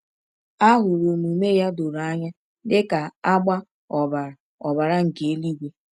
A hụrụ omume ya doro anya dịka agba ọbara ọbara nke eluigwe.